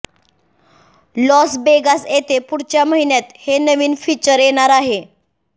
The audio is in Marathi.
लॉस वेगास येथे पुढच्या महिन्यात हे नवीन फीचर येणार आहे